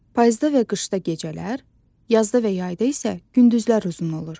Payızda və qışda gecələr, yazda və yayda isə gündüzlər uzun olur.